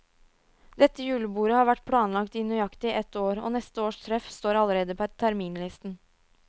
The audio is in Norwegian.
Dette julebordet har vært planlagt i nøyaktig ett år, og neste års treff står allerede på terminlisten.